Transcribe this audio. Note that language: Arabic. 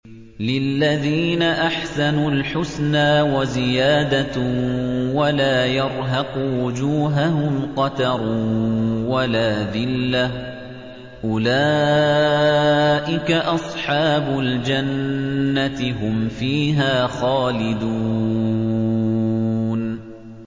۞ لِّلَّذِينَ أَحْسَنُوا الْحُسْنَىٰ وَزِيَادَةٌ ۖ وَلَا يَرْهَقُ وُجُوهَهُمْ قَتَرٌ وَلَا ذِلَّةٌ ۚ أُولَٰئِكَ أَصْحَابُ الْجَنَّةِ ۖ هُمْ فِيهَا خَالِدُونَ